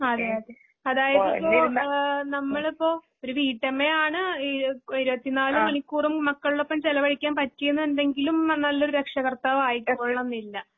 അതേയതെ. അതായതിപ്പോ ഏഹ് നമ്മളിപ്പൊ ഒരുവീട്ടമ്മയാണ്. ഈയൊക് ഇരുപത്തിനാല്മണിക്കൂറും മക്കൾടൊപ്പംചിലവഴിക്കാൻപറ്റിയെന്നുണ്ടെങ്കിലുംനല്ലൊരുരക്ഷാകർത്താവായി എങ്ങൊള്ളന്നില്ല.